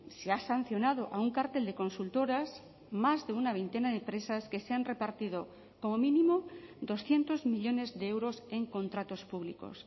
se ha sancionado a un cártel de consultoras más de una veintena de empresas que se han repartido como mínimo doscientos millónes de euros en contratos públicos